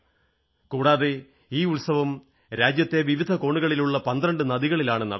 കൂടാതെ ഈ ഉത്സവം രാജ്യത്തെ വിവിധ കോണുകളിലുള്ള 12 നദികളിലാണു നടത്തുന്നത്